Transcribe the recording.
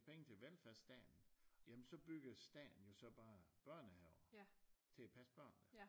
Penge til velfærdsstaten jamen så bygger staten jo så bare børnehaver til at passe børnene